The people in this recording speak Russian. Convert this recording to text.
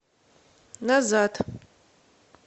назад